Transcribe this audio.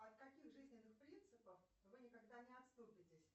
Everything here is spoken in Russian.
от каких жизненных принципов вы никогда не отступитесь